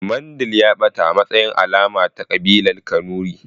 Mandil ya ɓata a matsayin alama ta ƙabilar kanuri